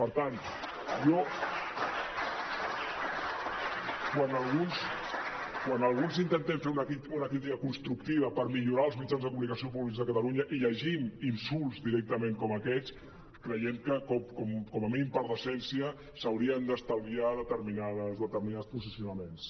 per tant jo quan alguns intentem fer una crítica constructiva per millorar els mitjans de comunicació públics de catalunya i llegim insults directament com aquests creiem que com a mínim per decència s’haurien d’estalviar determinats posicionaments